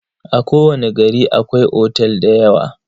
A kowani gari akwai otel dayawa.